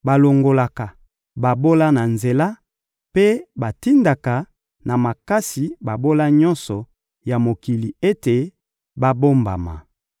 balongolaka babola na nzela, mpe batindaka na makasi babola nyonso ya mokili ete babombama.